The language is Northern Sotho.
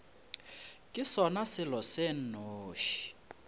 ke sona selo se nnoši